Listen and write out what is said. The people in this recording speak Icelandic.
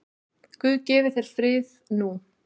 Guð gefi þér frið nú.